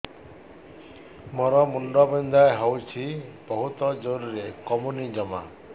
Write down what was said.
ମୋର ମୁଣ୍ଡ ବିନ୍ଧା ହଉଛି ବହୁତ ଜୋରରେ କମୁନି ଜମା